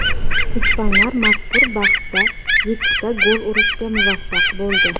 Ispanlar mazkur bahsda yettita gol urishga muvaffaq bo‘ldi.